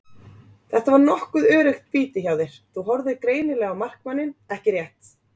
Þetta var nokkuð öruggt víti hjá þér, þú horfðir greinilega á markmanninn ekki rétt?